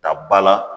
Ta ba la